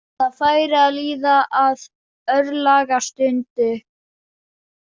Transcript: Það færi að líða að örlagastundu.